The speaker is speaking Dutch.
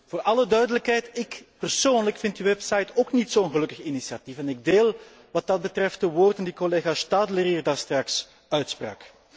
Voor alle duidelijkheid ik persoonlijk vind die website ook niet zo'n gelukkig initiatief en ik deel wat dat betreft de woorden die collega Stadler hier straks uitsprak.